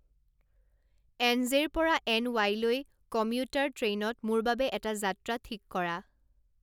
N J পৰা N ওয়াইলৈ commuter ট্ৰেইনত মোৰ বাবে এটা যাত্ৰা ঠিক কৰা